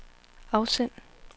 afsend